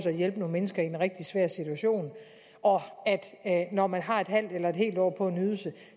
at hjælpe nogle mennesker i en rigtig svær situation og at det når man har et halvt eller et helt år på en ydelse